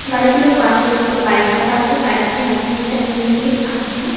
গাড়ি গুলোর পাশে একটা বাইক রাখা আছে। বাইক -টির মধ্যে একটা হেলমেট আছে।